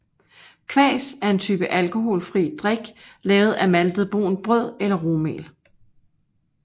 Kvas er en type alkoholfri drik lavet af maltet brunt brød eller rugmel